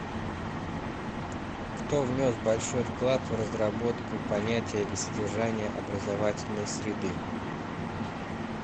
кто внес большой вклад в разработку понятия и содержания образовательной среды